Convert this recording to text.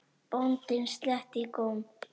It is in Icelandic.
Bóndinn sletti í góm.